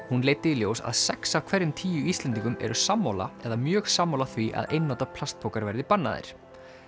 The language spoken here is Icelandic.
hún leiddi í ljós að sex af hverjum tíu Íslendingum eru sammála eða mjög sammála því að einnota plastpoka verði bannaðir